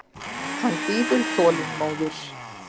Hann bíður þolinmóður.